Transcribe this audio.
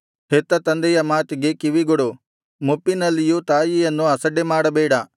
ಹೆತ್ತ ತಂದೆಯ ಮಾತಿಗೆ ಕಿವಿಗೊಡು ಮುಪ್ಪಿನಲ್ಲಿಯೂ ತಾಯಿಯನ್ನು ಅಸಡ್ಡೆಮಾಡಬೇಡ